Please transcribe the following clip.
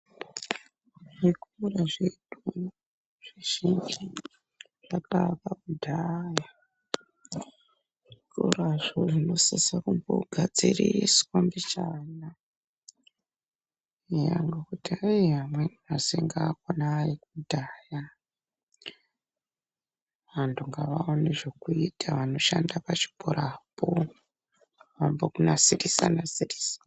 Zvikora zvedu zvizhinji zvakaakwa kudhaya zvikorazvo zvinosisa kumbogadziriswa mbichana eya ngekuti eee amweni masinki akona aekudhaya, vantu ngavaone zvekuita vanoshande pachikorapo vambonasirisa nasirisa...